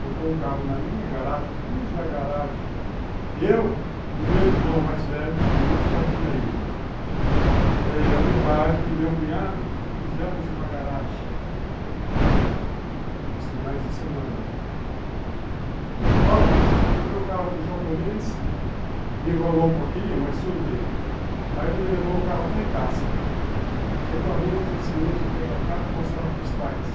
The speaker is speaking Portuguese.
botou o carro na minha garagem cuja garagem eu o meu irmão mais velho o outro já tinha ido é o meu pai e meu cunhado fizemos uma garagem nos finais de semana. Bom, comprei o carro do japonês me enrolou um pouquinho mas tudo bem aí ele me levou o carro até em casa chegou a noite ansioso pegar o carro mostrar para os pais